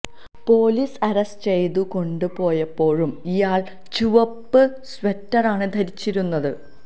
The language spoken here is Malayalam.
പോലീസ് അറസ്റ്റ് ചെയ്തു കൊണ്ടു പോയപ്പോഴും ഇയാൾ ചുവപ്പ് സ്വെറ്ററാണ് ധരിച്ചിരുന്നത്